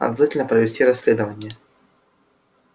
обязательно провести расследование